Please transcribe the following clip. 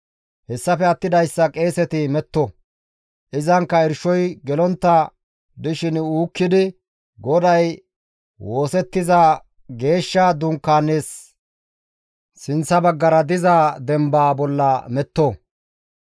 Hessafe attidayssa qeeseti metto; izankka irshoy gelontta dishin uukkidi GODAY woosettiza geeshsha dunkaanaasi sinththa baggara diza dembaa bolla metto.